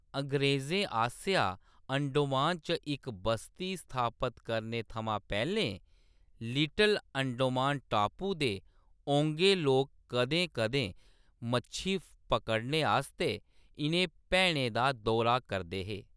अंग्रेजें आसेआ अंडोमान च इक बस्ती स्थापत करने थमां पैह्‌‌‌लें, लिटिल अंडोमान टापू दे ओंगे लोक कदें-कदें मच्छी पकड़ने आस्तै इʼनें भैनें दा दौरा करदे हे।